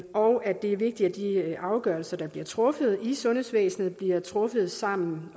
og at det er vigtigt at de afgørelser der bliver truffet i sundhedsvæsenet bliver truffet sammen